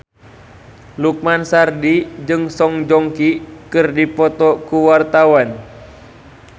Lukman Sardi jeung Song Joong Ki keur dipoto ku wartawan